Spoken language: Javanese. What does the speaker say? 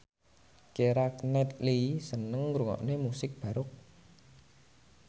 Keira Knightley seneng ngrungokne musik baroque